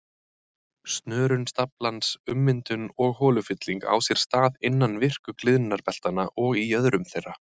Snörun staflans, ummyndun og holufylling á sér stað innan virku gliðnunarbeltanna og í jöðrum þeirra.